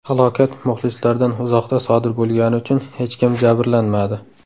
Halokat muxlislardan uzoqda sodir bo‘lgani uchun hech kim jabrlanmadi.